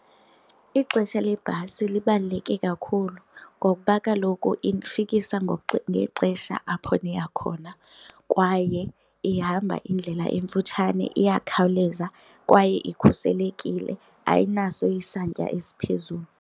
Ixesha lebhasi libaluleke kakhulu ngokuba kaloku indifikisa ngexesha apho ndiya khona kwaye ihamba indlela emfutshane, iyakhawuleza. Kwaye ikhuselekile, ayinaso isantya esiphezulu.